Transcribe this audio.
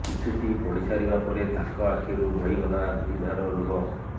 ଚିଠିଟି ପଢ଼ିସାରିବା ପରେ ତାଙ୍କ ଆଖିରୁ ବହିଗଲା ଦୁଇ ଧାର ଲୁହ